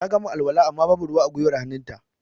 Ta gama alwala amma ba bu ruwa a gwiwar hannun ta